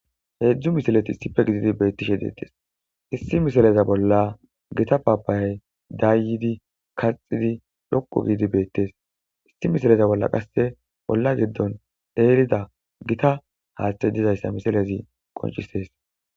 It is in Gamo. Hezdzdu misileti issippe gididi betishshe deetesi issi misilezi bola gita papaya dayidi kaaththidi dhoqu giddi betesi issi misileza bola qase ola bola dayidi dizayisa besesi